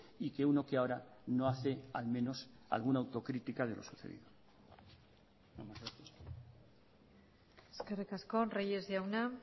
y que uno que ahora no hace al menos alguna autocrítica de lo sucedido eskerrik asko reyes jauna